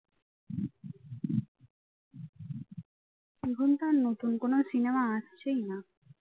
এখন তো আর নতুন কোন cinema আসছেই না